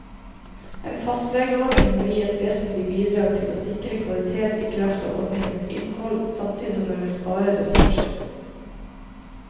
En fastlegeordning vil gi et vesentlig bidrag til å sikre kvalitet i kraft av ordningens innhold, samtidig som den vil spare ressurser.